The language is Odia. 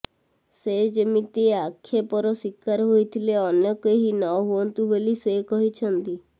ସେ ଯେମିତି ଆକ୍ଷେପର ଶୀକାର ହୋଇଥିଲେ ଅନ୍ୟ କେହି ନହୁଅନ୍ତୁ ବୋଲି ସେ କହିଛନ୍ତି